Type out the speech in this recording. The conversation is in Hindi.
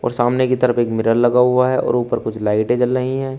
और सामने की तरफ एक मिरर लगा हुआ है और ऊपर कुछ लाइटे जल रही है।